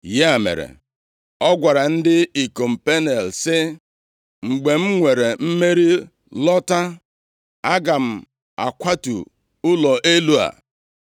Ya mere, ọ gwara ndị ikom Peniel sị, “Mgbe m nwere mmeri lọta, aga m akwatu ụlọ elu a.”